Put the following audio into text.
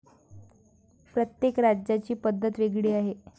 प्रत्येक राज्याची पद्धत वेगळी आहे.